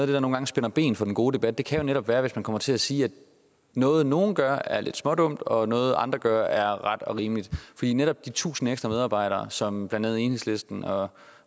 der nogle gange spænder ben for en god debat jo netop kan være hvis man kommer til at sige at noget nogen gør er lidt smådumt og noget andre gør er ret og rimeligt netop de tusind ekstra medarbejdere som blandt andet enhedslisten og